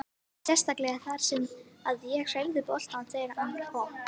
Sérstaklega þar sem að ég hreyfði boltann þegar að hann kom.